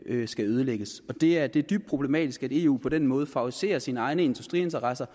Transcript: skal nedlægges og det er dybt dybt problematisk at eu på den måde favoriserer sine egne industriinteresser